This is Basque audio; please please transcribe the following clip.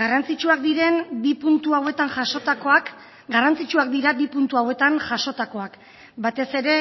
garrantzitsuak diren bi puntu hauetan jasotakoak garrantzitsuak dira bi puntu hauetan jasotakoak batez ere